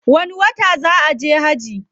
Wani wata zaa kaje hajji?